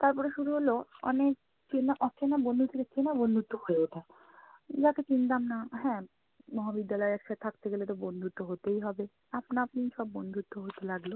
তারপরে শুরু হলো অনেক চেনা~ অচেনা বন্ধু থেকে চেনা বন্ধুত্ব হয়ে ওঠা, যাকে চিনতাম না। হ্যাঁ, মহাবিদ্যালয়ে একসাথে থাকতে গেলে তো বন্ধুত্ব হতেই হবে, আপনা-আপনিই সব বন্ধুত্ব হতে লাগলো।